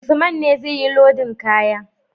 Usman ne zai yi lodin kaya